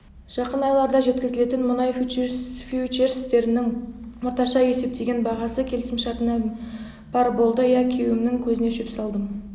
жақын айларда жеткізілетін мұнай фьючерстерінің орташа есептеген бағасы келісімшартына барр болды ия күйеуімнің көзіне шөп салдым